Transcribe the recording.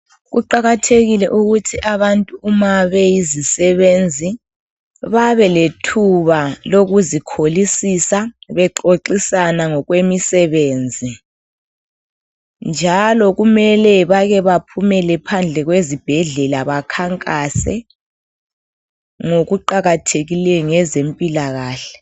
Kuqakathekile ukuthi abantu uma beyizisebenzi babelethuba lokuzikholisisa bexoxisana ngokwemisebenzi, njalo kumele bake baphumele phandle kwezibhedlela bakhankase ngokuqakathekileyo ngezempilakahle